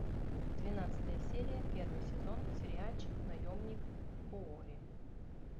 двенадцатая серия первый сезон сериальчик наемник куорри